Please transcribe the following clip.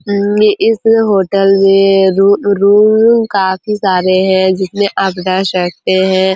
इनमे इस होटल में रु रूम काफी सारे है जिसमें आप रह सकते है।